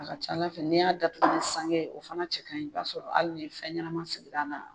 A ka ca Ala fɛ n'i y'a datugu ni sange ye o fana cɛ ka ɲi i b'a sɔrɔ hali ye fɛn ɲɛnama segir'a la